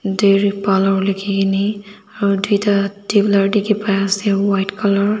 daily parlour likhi kene aru tuita tubeler dikhi pa ase white colour .